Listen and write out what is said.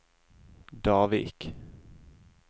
Davik